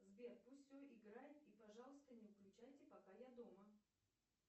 сбер пусть все играет и пожалуйста не выключайте пока я дома